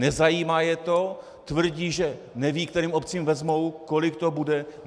Nezajímá je to, tvrdí, že nevědí, kterým obcím vezmou, kolik to bude.